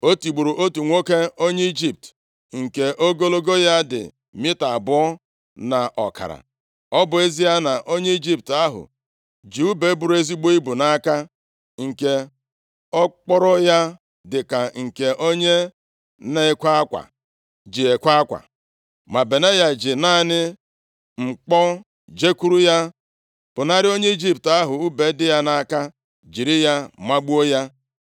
O tigburu otu nwoke onye Ijipt, nke ogologo ya dị mita abụọ na ọkara. Ọ bụ ezie na onye Ijipt ahụ ji ùbe buru ezigbo ibu nʼaka, nke okporo ya dịka nke onye na-ekwe akwa ji ekwe akwa, ma Benaya ji naanị mkpọ jekwuru ya, pụnara onye Ijipt ahụ ùbe dị ya nʼaka, jiri ya magbuo ya.